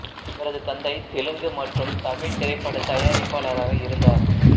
இவரது தந்தை தெலுங்கு மற்றும் தமிழ் திரைப்பட தயாரிப்பாளராக இருந்தார்